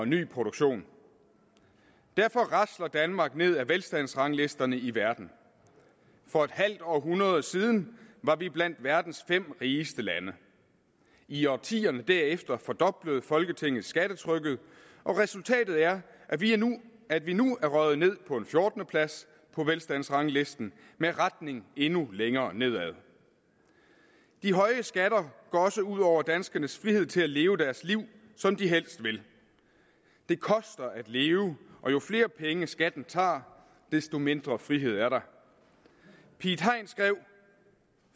ny produktion derfor rasler danmark ned ad velstandsranglisterne i verden for et halvt århundrede siden var vi blandt verdens fem rigeste lande i årtierne derefter fordoblede folketinget skattetrykket og resultatet er at vi at vi nu er røget ned på en fjortende plads på velstandsranglisten med retning endnu længere nedad de høje skatter går også ud over danskernes frihed til at leve deres liv som de helst vil det koster at leve og jo flere penge skatten tager desto mindre frihed er der piet hein skrev